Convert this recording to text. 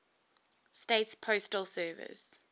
states postal service